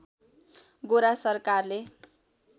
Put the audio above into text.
गोरा सरकारले